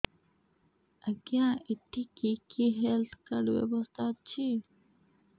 ଆଜ୍ଞା ଏଠି କି କି ହେଲ୍ଥ କାର୍ଡ ବ୍ୟବସ୍ଥା ଅଛି